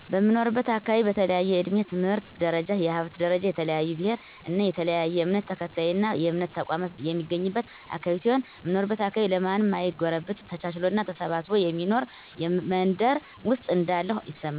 በምኖርበት አካባቢ በተለያየ እድሜ፣ የትምህርት ደረጃ፣ የሀብት ደረጃ፣ የተለያየ ብሔር እና የተለያየ እምነት ተከታይና የእምነት ተቋማት የሚገኝበት አካባቢ ሲሆን፣ እምኖርበት አካባቢ ለማንም ማይጎረብጥ ተቻችሎና ተሳስቦ የሚኖር መንደር ውስጥ እንዳለሁ ይሰማኛል።